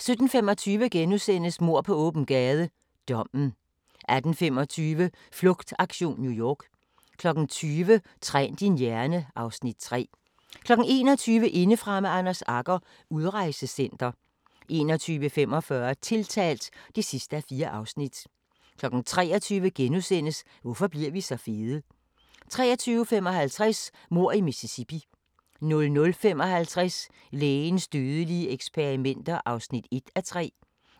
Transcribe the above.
17:25: Mord på åben gade - dommen * 18:25: Flugtaktion New York 20:00: Træn din hjerne (Afs. 3) 21:00: Indefra med Anders Agger – Udrejsecenter 21:45: Tiltalt (4:4) 23:00: Hvorfor bliver vi så fede? * 23:55: Mord i Mississippi 00:55: Lægens dødelige eksperimenter (1:3)